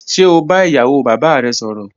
Ṣe o ba iyawo baba rẹ sọrọ?